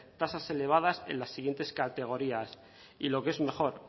tasas elevadas en las siguientes categorías y lo que es mejor